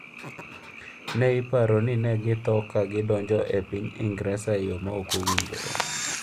Ne iparo ni ne githo ka gidonjo e piny Ingresa e yo ma ok owinjore.